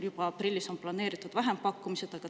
Juba aprilliks on planeeritud vähempakkumised.